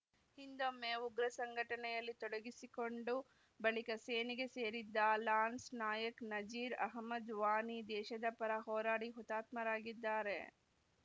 ಹಿಂದೊಮ್ಮೆ ಉಗ್ರ ಸಂಘಟನೆಯಲ್ಲಿ ತೊಡಗಿಸಿಕೊಂಡು ಬಳಿಕ ಸೇನೆಗೆ ಸೇರಿದ್ದ ಲಾನ್ಸ್‌ ನಾಯಕ್‌ ನಜೀರ್‌ ಅಹಮದ್‌ ವಾನಿ ದೇಶದ ಪರ ಹೋರಾಡಿ ಹುತಾತ್ಮರಾಗಿದ್ದಾರೆ